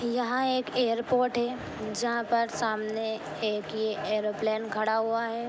यहाँ एक एयरपोर्ट हैजहां पर सामने एक ये एयरोप्लेन खड़ा हुआ है।